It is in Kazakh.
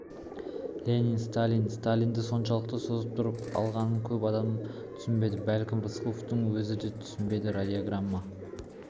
ленин сталин сталинді соншалықты созып тұрып алғанын көп адам түсінбеді бәлкім рысқұловтың өзі де түсінбеді радиограмма